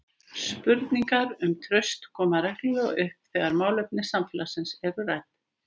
Spurningar um traust koma reglulega upp þegar málefni samfélagsins eru rædd.